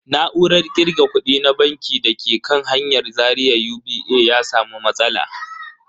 Na'urar kirga kudi na banki da ke kan hanyar Zaria UBA ya samu matsala.